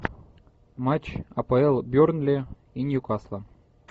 матч апл бернли и ньюкасла